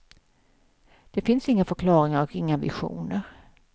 Det finns inga förklaringar och inga visioner.